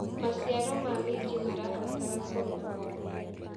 Maciaro ma mĩnji marabatara kũrorwo o mũthenya.